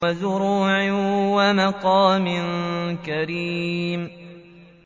وَزُرُوعٍ وَمَقَامٍ كَرِيمٍ